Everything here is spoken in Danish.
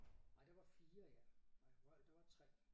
Nej der var 4 i alt nej vrøvl der var 3